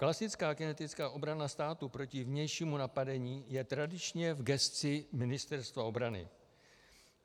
Klasická kinetická obrana státu proti vnějšímu napadení je tradičně v gesci Ministerstva obrany.